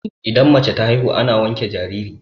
idan mace ta haihu ana wanke jariri